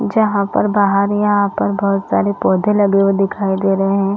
जहाँ पर बाहर यहाँ पर बहोत सारे पौधे लगे हुए दिखाई दे रहे है।